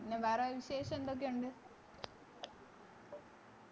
പിന്നെ വേറെ വിശേഷം എന്തൊക്കെ ഉണ്ട്